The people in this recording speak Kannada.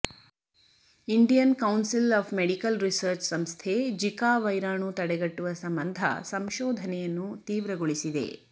Indian council of medical research ಸಂಸ್ಥೆ ಜಿಕಾ ವೈರಾಣು ತಡೆಗಟ್ಟುವ ಸಂಬಂಧ ಸಂಶೋಧನೆಯನ್ನು ತೀವ್ರಗೊಳಿಸಿದೆ